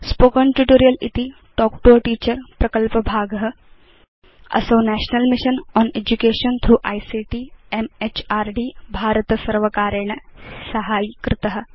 spoken tutorial इति talk to a teacher प्रकल्पभाग असौ national mission on education through ICT MHRD भारतसर्वकारेण साहाय्यीकृत